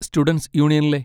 Students യൂണിയനിലെ?